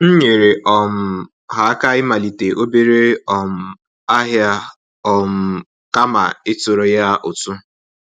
M nyere um ha aka ịmalite obere um ahịa um kama ịtụrụ ya ụtụ